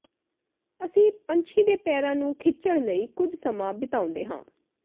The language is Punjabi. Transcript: ਅਸੀਂ ਪੰਛੀ ਦੇ ਪੈਰਾਂ ਨੂੰ ਖਿੱਚਣ ਲਈ ਕੁਝ ਸਮਾਂ ਬਿਤਾਉਂਦੇ ਹਾਂ